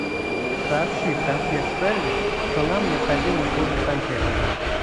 сообщи в консьерж сервис что нам необходимы услуги сантехника